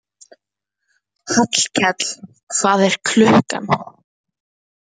Hallkell, hvað er klukkan?